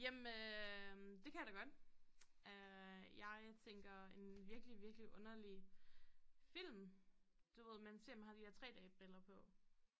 Jamen øh det kan jeg da godt øh jeg tænker en virkelig virkelig underlig film du ved man ser med de her 3D briller på